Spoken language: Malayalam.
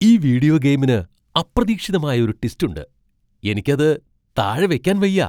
ഈ വീഡിയോ ഗെയിമിന് അപ്രതീക്ഷിതമായ ഒരു ട്വിസ്റ്റ് ഉണ്ട്. എനിക്ക് അത് താഴെ വയ്ക്കാൻ വയ്യ.